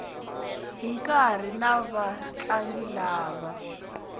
hi nkarhi na vatlangi lava